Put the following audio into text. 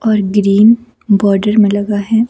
और green border में लगा है।